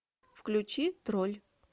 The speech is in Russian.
включи тролль